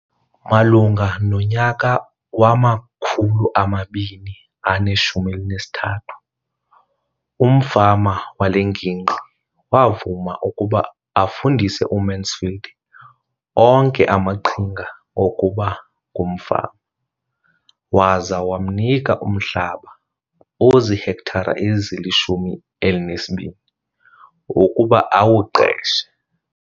Malunga nonyaka wama-2013, umfama wale ngingqi wavuma ukuba afundise uMansfield onke amaqhinga okuba ngumfama waza wamnika umhlaba ozihektare ezili-12 ukuba awuqeshe.